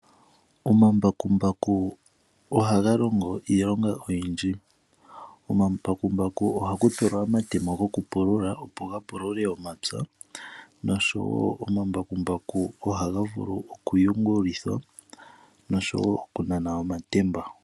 Omambakumbaku ohaga longo iilonga oyindji. Komambakumbaku ohaku tulwa omatemo go kupulula, opo ga pulule omapya. Omambakumbaku ohaga vulu wo okuyungulithwa, noshowo okunana omatemba.